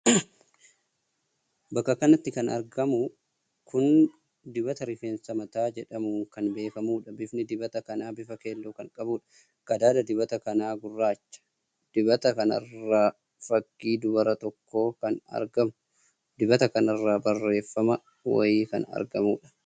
Bakka kanatti kan argamu kun dibata rifeensa mataa jedhamuun kan beekamuudha. Bifni dibata kanaa bifa keelloo kan qabuudha. Qadaada dibata kana gurraacha. Dibata kanarra fakkii dubaraa tokko kan argamu. Dibata kanarra barreeffama wayii kan argamuudha.